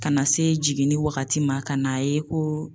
Ka na se jiginni wagati ma ka n'a ye ko